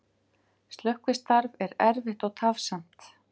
Slökkvistarf er erfitt og tafsamt